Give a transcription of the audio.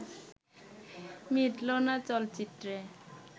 মিটলো না চলচ্চিত্রে